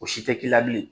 O si tɛ k'i la bilen